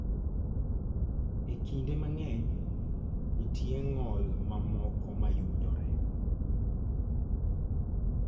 E kinde mang�eny, nitie ng'ol mamoko ma yudore.